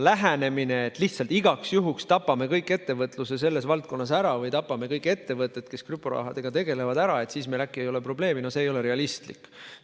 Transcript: Lähenemine, et tapame lihtsalt igaks juhuks kogu ettevõtluse selles valdkonnas ära või tapame kõik ettevõtted, kes krüptorahaga tegelevad, ära, et siis meil äkki ei ole probleemi, no see ei ole realistlik.